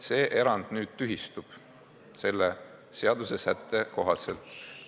See erand nüüd selle seadusesätte kohaselt tühistub.